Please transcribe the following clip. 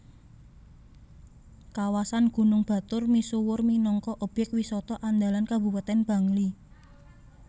Kawasan Gunung Batur misuwur minangka obyek wisata andalan Kabupatèn Bangli